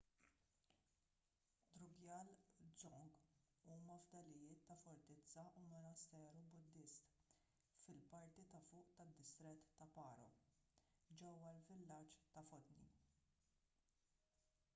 drukgyal dzong huma fdalijiet ta’ fortizza u monasteru buddist fil-parti ta’ fuq tad-distrett ta’ paro ġewwa l-villaġġ ta’ phondey